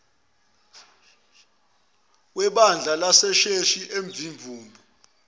webandla lasesheshi emzimvubu